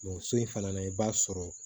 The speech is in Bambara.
so in fana na i b'a sɔrɔ